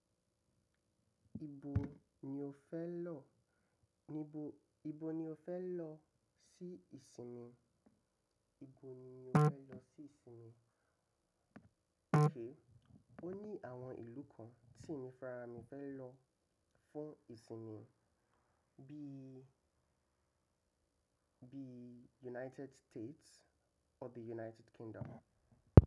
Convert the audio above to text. Ibo ni o fẹ́ lọ, níbo, ibo ni o fẹ́ lọ sí ìsinmi? Ibo ni mí o fẹ́ lọ sí ìsinmi? Kèé, ó ní àwọn ìlú kan tí mi fárámi fẹ́ lọ fún ìsinmi bí i, bí i United States or bí i United Kingdom.